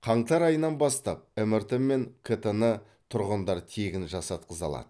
қаңтар айынан бастап мрт мен кт ны тұрғындар тегін жасатқыза алады